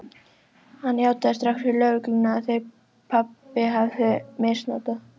Hann játaði strax fyrir lögreglunni að þeir pabbi hefðu misnotað